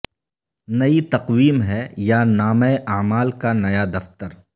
نئی تقویم ہے یا نامہ اعمال کا نیا دفتر